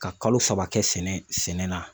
Ka kalo saba kɛ sɛnɛ na.